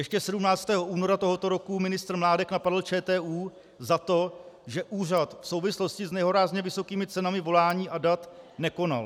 Ještě 17. února tohoto roku ministr Mládek napadl ČTÚ za to, že úřad v souvislosti s nehorázně vysokými cenami volání a dat nekonal.